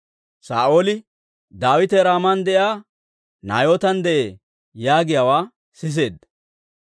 Saa'ooli, «Daawite Raaman de'iyaa Naayootan de'ee» yaagiyaawaa siseedda.